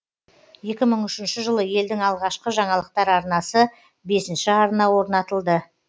екі мың үшінші жылы елдің алғашқы жаңалықтар арнасы бесінші арна орнатылды